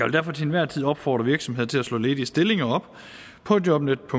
derfor til enhver tid opfordre virksomheder til at slå ledige stillinger op på jobnetdk